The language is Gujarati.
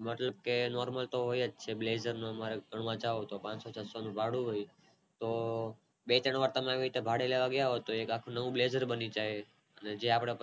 બધેય Normal તો હોય જ Blazer નું હમણાં જાવ તો પાનસો છસો ભાડું હોય તો બે ત્રણ વાર તમે ભાડે લેવા ગયા હોવ તો એક આખું નવું બ્લેઝર બની જાય ને પછી એ આપણે